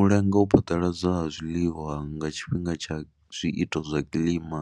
U lenga u phaḓaladzwa ha zwiḽiwa nga tshifhinga tsha zwiito zwa kilima